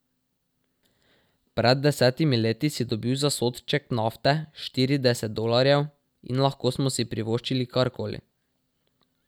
Pred desetimi leti si dobil za sodček nafte štirideset dolarjev, in lahko smo si privoščili karkoli.